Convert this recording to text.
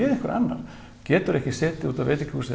einhver annar getur ekki setið á veitingahúsi eða